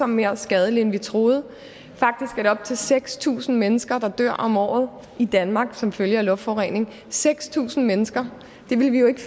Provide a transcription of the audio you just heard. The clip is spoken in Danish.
mere skadelig end vi troede faktisk er det op til seks tusind mennesker der dør om året i danmark som følge af luftforurening seks tusind mennesker vi ville jo ikke